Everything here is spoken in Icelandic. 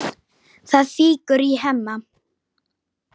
Það fýkur í Hemma.